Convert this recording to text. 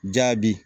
Jaabi